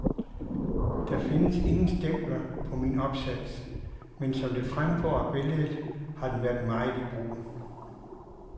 Der findes ingen stempler på min opsats, men som det fremgår af billedet, har den været meget i brug.